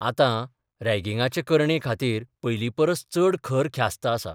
आतां रॅगिंगाचे करणे खातीर पयलींपरस चड खर ख्यास्त आसा.